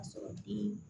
A sɔrɔtigi